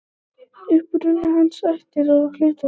Uppruni hans, ættir og hlutverk.